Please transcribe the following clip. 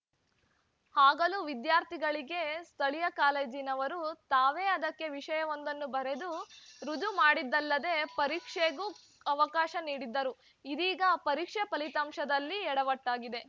ಆಗಲೂ ವಿದ್ಯಾರ್ಥಿಗಳಿಗೆ ಸ್ಥಳೀಯ ಕಾಲೇಜಿನವರು ತಾವೇ ಅದಕ್ಕೆ ವಿಷಯವೊಂದನ್ನು ಬರೆದು ರುಜು ಮಾಡಿದ್ದಲ್ಲದೆ ಪರೀಕ್ಷೆಗೂ ಅವಕಾಶ ನೀಡಿದ್ದರು ಇದೀಗ ಪರೀಕ್ಷೆ ಫಲಿತಾಂಶದಲ್ಲಿ ಯಡವಟ್ಟಾಗಿದೆ